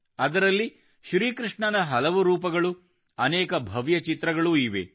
ಅದರಲ್ಲಿ ಶ್ರೀಕೃಷ್ಣನ ಹಲವು ರೂಪಗಳು ಅನೇಕ ಭವ್ಯ ಚಿತ್ರಗಳು ಇವೆ